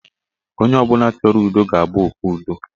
Onye ọbụla chọrọ ụdọ ga-abụ okpe ụdọ.